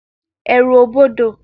Èrù o bọdọ